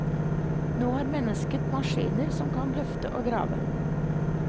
Nå har mennesket maskiner som kan løfte og grave.